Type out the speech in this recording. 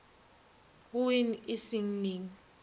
go wean e seng neng